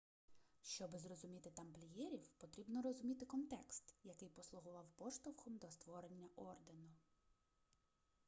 щоби зрозуміти тамплієрів потрібно розуміти контекст який послугував поштовхом до створення ордену